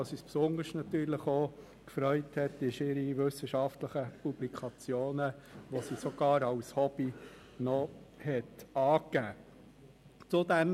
Worüber wir uns besonders gefreut haben, sind ihre wissenschaftlichen Publikationen, die sie als Hobby angegeben hat.